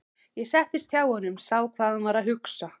Ég settist hjá honum, sá hvað hann var að hugsa.